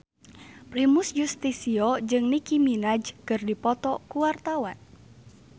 Primus Yustisio jeung Nicky Minaj keur dipoto ku wartawan